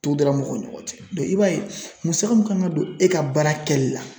dara mɔgɔw ni ɲɔgɔn cɛ i b'a ye musaka mun kan ka don e ka baara kɛli la